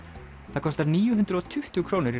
það kostar níu hundruð og tuttugu krónur í